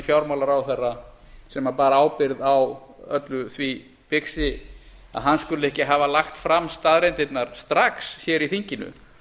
fjármálaráðherra sem bar ábyrgð á öllu því bixi að hann skuli ekki hafa lagt fram staðreyndirnar strax hér í þinginu